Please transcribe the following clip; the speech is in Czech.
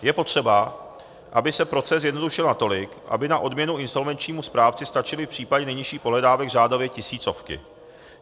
Je potřeba, aby se proces zjednodušil natolik, aby na odměnu insolvenčnímu správci stačily v případě nejnižších pohledávek řádově tisícovky.